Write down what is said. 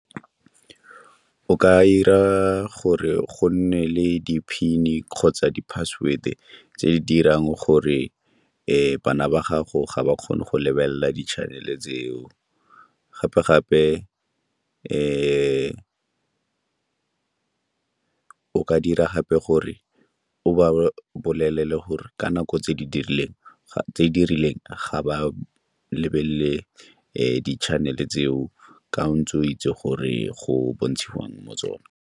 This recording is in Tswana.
O ka 'ira gore go nne le di-PIN-e kgotsa di-password-e tse di dirang gore bana ba gago ga ba kgone go lebelela di-channel-e tseo. Gape-gape o ka dira gape gore o ba bolelele gore ka nako tse di rileng ga ba lebelele di-channel-e tseo ka ntse o itse gore go bontshiwang mo tsona.